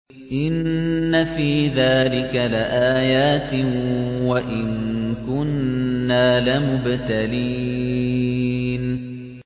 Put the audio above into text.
إِنَّ فِي ذَٰلِكَ لَآيَاتٍ وَإِن كُنَّا لَمُبْتَلِينَ